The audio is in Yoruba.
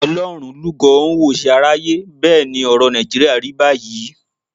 Ọlọ́run lúgọ ó ń wòṣe aráyé. Bẹ́ẹ̀ ni ọ̀rọ̀ Nàìjíríà rí báyìí.